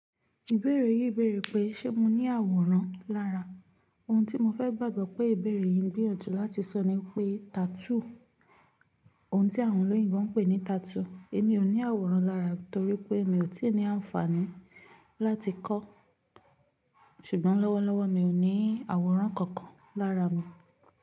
Ìbéèrè yìí bèrè pé, ṣé mo ní àwòrán lára. Ohun tí mo fẹ́ gbàgbọ́ pé ìbéèrè yìí ngbìyànjú láti sọ ni pé tattoo, ohun tí àwọn olóyìnbo ń pè ní tattoo. Èmi ò ní àwòrán lára torí pé mi ò tí ì ní àǹfààní láti kọ́, ṣùgbọ́n lọ́wọ́lọ́wọ́ mi ò ní àwòrán kankan lára mi.